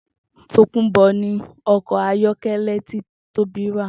Tòkunbò̩ ni o̩kò̩ ayó̩ké̩lé̩ tí Tóbi rà